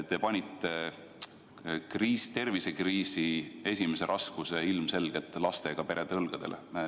Te panite tervisekriisi põhiraskuse ilmselgelt lastega perede õlgadele.